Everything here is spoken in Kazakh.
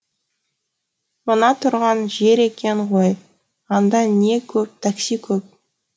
мына тұрған жер екен ғой анда не көп такси көп